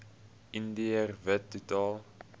indiër wit totaal